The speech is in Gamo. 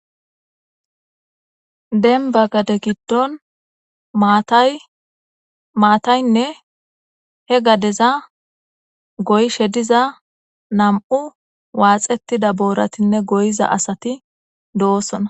Dembba gade giddon maathay maathaynne he gadeza goyshe diza nam7u waaxeththida boorathinne goyiza asathi doosona.